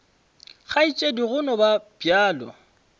kgaetšedi go no ba bjalo